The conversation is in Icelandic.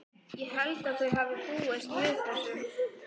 Ég held að þau hafi búist við þessu.